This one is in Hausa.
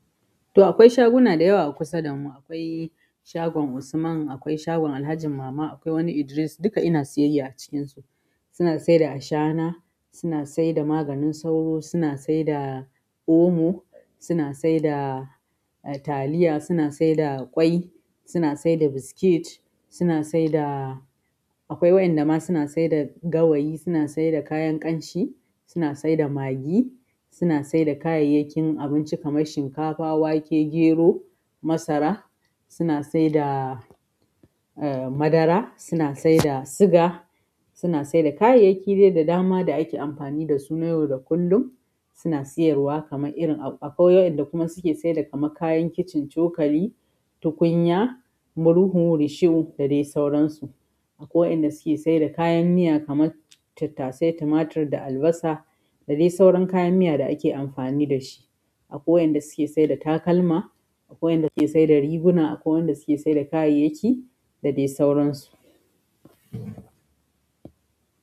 To akwai shaguna dayawa a kusa damu, akwai shagon Usman, akwai shagon Alhaji mama, akwai wani Idris duka ina siyayya a cikin su, suna saida ashana, suna saida maganin sauro, suna saida omo, suna saida taliya, suna saida ƙwai, suna saida biskit, suna saida akwai waƴanda ma suna saida gawayi, suna saida kayan ƙamshi, suna saida maggi, suna saida kayayyakin abinci kamar shinkafa, wake, gero, masara, suna saida eh madara, suna saida suga, suna saida kayayyaki da dama da ake amfani dasu na yau da kullum suna siyarwa kamar irin akwai wainda suke saida kamar kayan kitchen, cokali, tukunya, muhru, risho da dai sauransu, akwai wainda suke saida kayan miya kamar tattasai, tumatir da albasa da dai sauran kayan miya da'ake amfani da shi. Akwai wainda suke saida takalma akwai wainda suke saida riguna, akwai wainda suke saida kayayyaki dadai sauran su.